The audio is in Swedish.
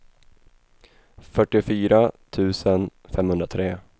fyrtiofyra tusen femhundratre